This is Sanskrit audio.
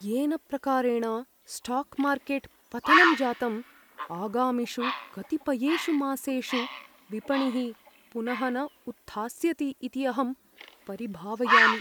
येन प्रकारेण स्टाक् मार्केट् पतनं जातम्, आगामिषु कतिपयेषु मासेषु विपणिः पुनः न उत्थास्यति इति अहं परिभावयामि।